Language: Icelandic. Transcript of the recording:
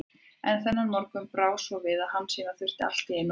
En þennan morgun brá svo við að Hansína þurfti allt í einu að tala.